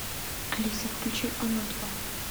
алиса включи оно два